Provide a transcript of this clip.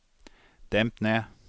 demp ned